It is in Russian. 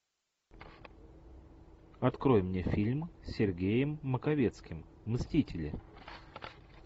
открой мне фильм с сергеем маковецким мстители